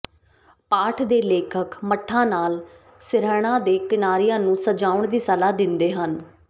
ਪਾਠ ਦੇ ਲੇਖਕ ਮਠਾਂ ਨਾਲ ਸਿਰਹਾਣਾ ਦੇ ਕਿਨਾਰਿਆਂ ਨੂੰ ਸਜਾਉਣ ਦੀ ਸਲਾਹ ਦਿੰਦੇ ਹਨ